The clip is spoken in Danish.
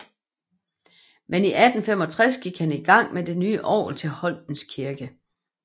Men i 1865 gik han i gang med det nye orgel til Holmens Kirke